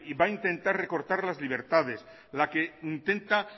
va intentar recortar las libertades la que intenta